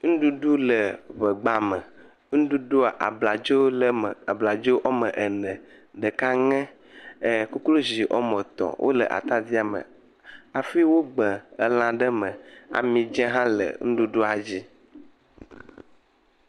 Nɖuɖu le ŋegba me. Nɖuɖua ablaadzo le eme. Abladzoa wɔ me ene ɖeka ŋe. Ekoklozi wɔ me etɔ̃ le ata dia me hafi wogbe ela ɖe me. Amidze hã le nɖuɖua dzi.